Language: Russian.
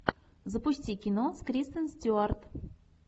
запусти кино с кристен стюарт